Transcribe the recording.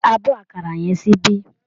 Gbé abọ́ àkàrà yẹn síbí